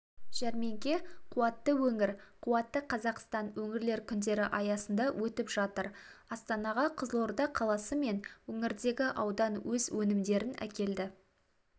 жәрмеңке қуатты өңір қуатты қазақстан өңірлер күндері аясында өтіп жатыр астанаға қызылорда қаласы мен өңірдегі аудан өз өнімдерін әкелді